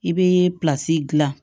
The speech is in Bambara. I bɛ dilan